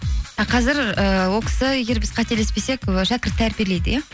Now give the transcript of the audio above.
а қазір ыыы ол кісі егер біз қателеспесек і шәкірт тәрбиелейді иә